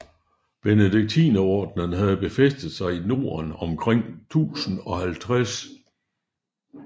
Benediktinerordenen havde befæstet sig i Norden omkring 1050